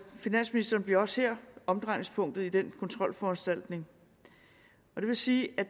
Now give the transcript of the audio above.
finansministeren bliver også her omdrejningspunktet i den kontrolforanstaltning det vil sige at